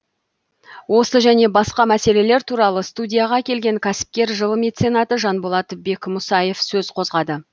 осы және басқа мәселелер туралы студияға келген кәсіпкер жыл меценаты жанболат бекмұсаев сөз қозғады